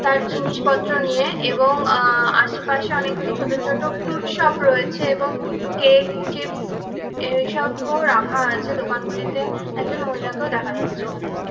তার জিনিসপত্র নিয়ে এবং আ আশেপাশে অনেকগুলি ছোট ছোট ফ্রুট শপ রয়েছে এবং কেক চিপস এইসবও রাখা আছে দোকানগুলিতে একজন মহিলাকেও দেখা যাচ্ছে এখানে ।